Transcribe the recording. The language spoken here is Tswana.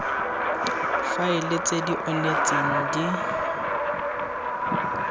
faele tse di onetseng di